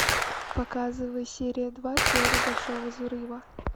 показывай серия два теория большого взрыва